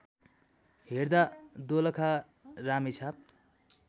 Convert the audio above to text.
हेर्दा दोलखा रामेछाप